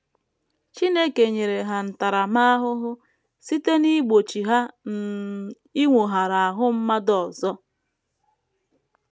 Chineke nyere ha ntaramahụhụ site n’igbochi ha um inwoghara ahụ mmadụ ọzọ.